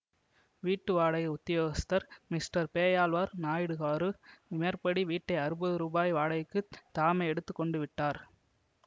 வீட்டு வாடகை உத்தியோகஸ்தர் மிஸ்டர் பேயாழ்வார் நாயுடுகாரு மேற்படி வீட்டை அறுபது ரூபாய் வாடகைக்குத் தாமே எடுத்து கொண்டு விட்டார்